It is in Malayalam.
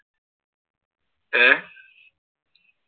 ഏർ